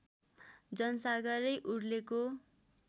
जनसागरै उर्लेको